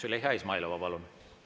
Züleyxa Izmailova, palun!